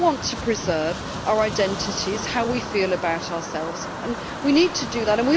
We all want to preserve our identities and how we feel about ourselves, and we need to do that.